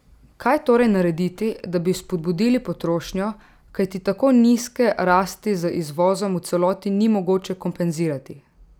Kaj torej narediti, da bi spodbudili potrošnjo, kajti tako nizke rasti z izvozom v celoti ni mogoče kompenzirati?